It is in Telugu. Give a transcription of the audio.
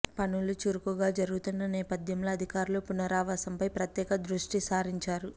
పనులు చురుకుగా జరుగుతున్న నేపథ్యంలో అధికార్లు పునరావాసంపై ప్రత్యేక దృష్టి సారించారు